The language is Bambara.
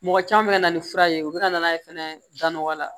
Mɔgɔ caman bɛ ka na ni fura ye u bɛ ka na n'a ye fɛnɛ da nɔgɔya la